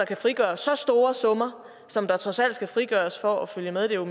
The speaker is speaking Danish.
kan frigøre så store summer som der trods alt skal frigøres for at følge med det er